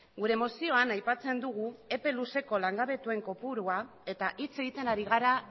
gure mozioan aipatzen dugu epe luzeko langabetuen kopurua eta hitz egiten ari gara